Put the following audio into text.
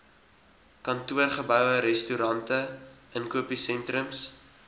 kantoorgeboue restaurante inkopiesentrums